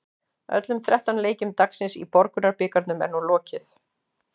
Öllum þrettán leikjum dagsins í Borgunarbikarnum er nú lokið.